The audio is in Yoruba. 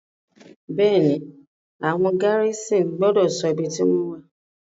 Bẹ́è ni, àwọn gárísìn gbọ́dọ̀ ṣọ ibi tí wọ́n wà.